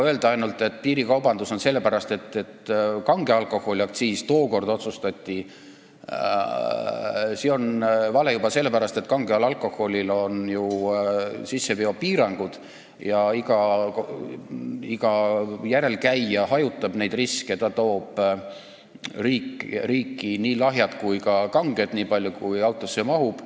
Öelda, et piirikaubandus on sellepärast, et kange alkoholi aktsiis tookord sellisena otsustati, on vale juba sellepärast, et kangel alkoholil on ju sisseveopiirangud ja iga alkoholi järele sõitnu hajutab riski: ta toob riiki nii lahjat kui ka kanget kraami nii palju, kui autosse mahub.